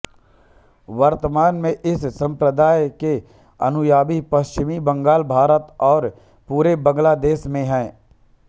वर्तमान में इस संप्रदाय के अनुयायी पश्चिम बंगाल भारत और पूरे बांग्लादेश में हैं